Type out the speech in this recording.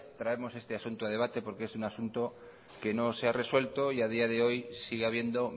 traemos este asunto a debate porque es un asunto que no se ha resuelto y a día de hoy sigue habiendo